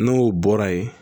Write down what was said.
N'o bɔra ye